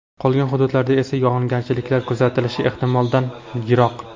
Qolgan hududlarda esa yog‘ingarchiliklar kuzatilishi ehtimoldan yiroq.